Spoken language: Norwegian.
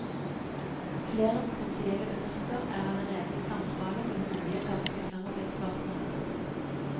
Flere potensielle bedrifter er allerede i samtale med mulige danske samarbeidspartnere. punktum